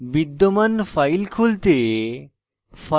বিদ্যমান file খুলতে